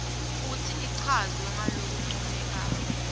futsi ichazwe ngalokuncomekako